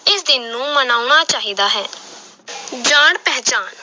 ਇਸ ਦਿਨ ਨੂੰ ਮਨਾਉਣਾ ਚਾਹੀਦਾ ਹੈ ਜਾਣ ਪਹਿਚਾਣ